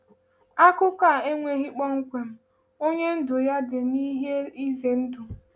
Akụkọ a ekwughị kpọmkwem onye ndụ ya dị n’ihe ize ndụ.